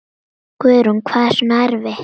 Guðrún: Hvað er svona erfitt?